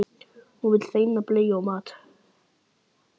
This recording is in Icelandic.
Hún vill hreina bleiu og mat.